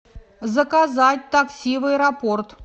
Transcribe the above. заказать такси в аэропорт